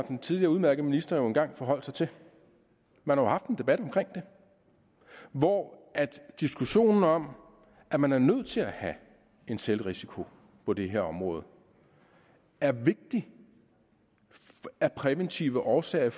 og den tidligere udmærkede minister jo engang forholdt sig til man har haft en debat om det hvor diskussionen om at man er nødt til at have en selvrisiko på det her område er vigtig af præventive årsager i